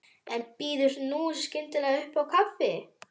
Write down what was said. En býður nú skyndilega upp á kaffi!